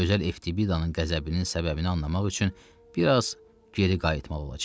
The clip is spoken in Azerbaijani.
Gözəl Eftibidanın qəzəbinin səbəbini anlamaq üçün bir az geri qayıtmalı olacağıq.